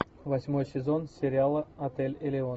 восьмой сезон сериала отель элеон